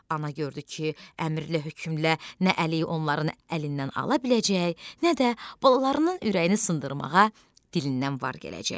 Ana gördü ki, əmrlə-hökmlə nə əliyi onların əlindən ala biləcək, nə də balalarının ürəyini sındırmağa dilindən var gələcək.